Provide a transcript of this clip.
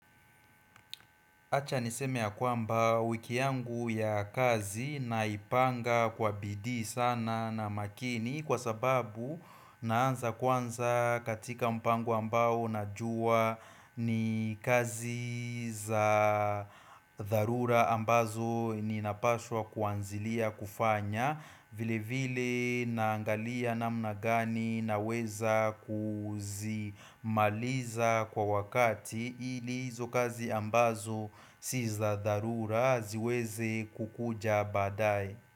Acha niseme ya kwamba wiki yangu ya kazi naipanga kwa bidii sana na makini kwa sababu naanza kwanza katika mpango ambao najua ni kazi za dharura ambazo ninapaswa kuanzilia kufanya vile vile naangalia namna gani naweza kuzimaliza kwa wakati ili hizo kazi ambazo sizadharura ziweze kukuja baadae.